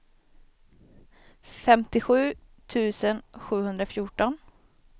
femtiosju tusen sjuhundrafjorton